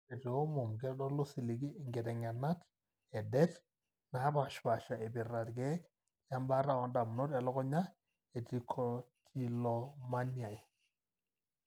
Ore teomom, keitodolu osiligi inkiteng'enat edet naapaashipaasha eipirta irkeek lembaata oondamunot elukunya etrichotillomaniae.